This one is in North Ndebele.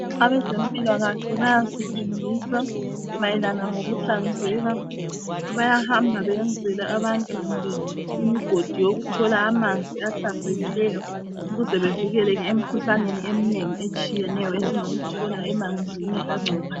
Abazempilakahle bayasifundisa mayelana ngokuhlanzeka. Bayahamba beyenzele abantu kumbe imigodi yokuthola amanzi ahlanzekileyo ukuze bevikeleke emkhuhlaneni eminengi etshiyeneyo esingayithola emanzini angcolileyo.